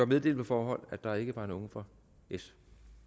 meddelt på forhånd at der ikke var nogen fra s